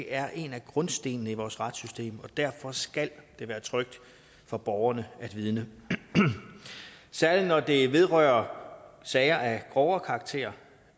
er en af grundstenene i vores retssystem og derfor skal det være trygt for borgerne at vidne særlig når det vedrører sager af grovere karakter